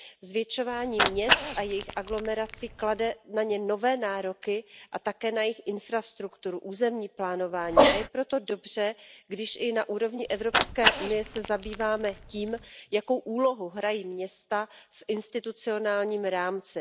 Zvětšování měst a jejich aglomerací klade na ně nové nároky a také na jejich infrastrukturu, územní plánování, a je proto dobře, když i na úrovni Evropské unie se zabýváme tím, jakou úlohu hrají města v institucionálním rámci.